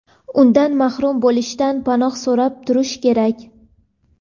undan mahrum bo‘lishdan panoh so‘rab turish kerak.